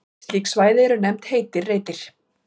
Slík svæði eru nefnd heitir reitir.